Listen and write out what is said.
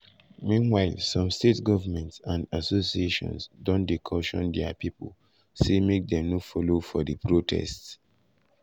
meanwhile some state governments and associations don dey caution dia pipo say make dem no follow for di protest.